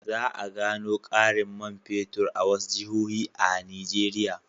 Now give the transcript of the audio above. Za a gano ƙarin man fetur a wasu jihohi a Nigeriya.